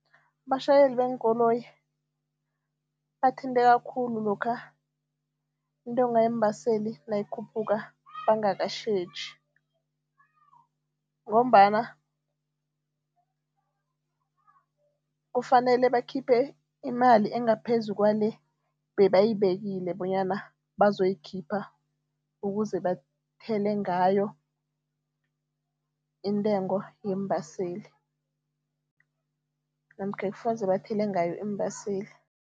Abatjhayeli beenkoloyi bathinteka khulu lokha intengo yeembaseli nayikhuphuka bangakatjheji ngombana kufanele bakhiphe imali engaphezu kwale bebayibekile bonyana bazoyikhipha ukuze bathele ngayo intengo yeembaseli namkha ekufuze bathele ngayo iimbaseli.